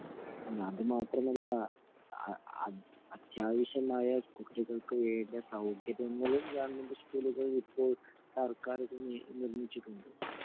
അല്ല അത് മാത്രമല്ല അത്യാവശ്യമായ കുട്ടികൾക്ക് വേണ്ട സൌകര്യങ്ങളും ഗവൺമെന്റ് സ്കൂളുകളില് ഇപ്പോൾ സര്ക്കാർ നിർമിച്ചിട്ടുണ്ട്